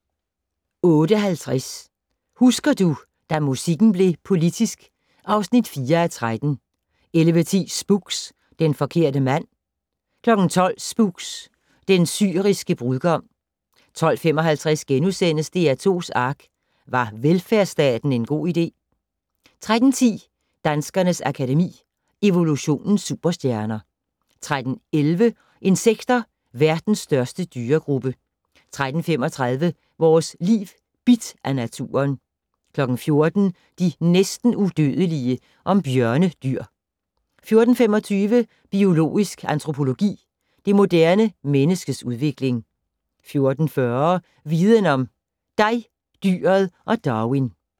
08:50: Husker du - da musikken blev politisk (4:13) 11:10: Spooks: Den forkerte mand 12:00: Spooks: Den syriske brudgom 12:55: DR2's ARK - Var velfærdsstaten en god idé? * 13:10: Danskernes Akademi: Evolutionens superstjerner 13:11: Insekter - verdens største dyregruppe 13:35: Vores Liv: Bidt af naturen 14:00: De næsten udødelige. om bjørnedyr 14:25: Biologisk antropologi - det moderne menneskes udvikling 14:40: Viden om: Dig, dyret og Darwin